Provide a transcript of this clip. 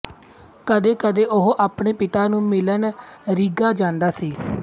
ਕਦੇ ਕਦੇ ਉਹ ਆਪਣੇ ਪਿਤਾ ਨੂੰ ਮਿਲਣ ਰੀਗਾ ਜਾਂਦਾ ਸੀ